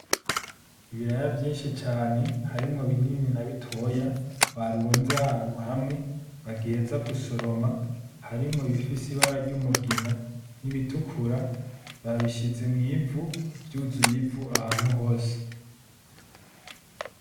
Ibiraya vyinshi cane harimwo binini na bitoya barunze ahantu hamwe, bagiheza gusoroma harimwo Ibifise ibara ryumugina nibitukura , babishize mwivu vyuzuye ivu ahantu hose.